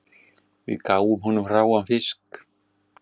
Við gáfum honum hráan fisk